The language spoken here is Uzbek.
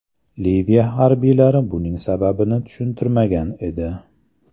Liviya harbiylari buning sababini tushuntirmagan edi.